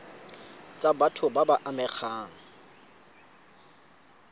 tsa batho ba ba amegang